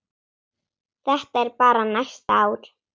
Þetta er bara næsta ár.